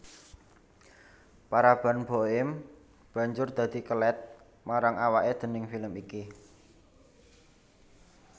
Paraban Boim banjur dadi kelèt marang awaké déning film iki